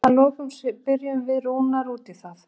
Að lokum spurðum við Rúnar út í það?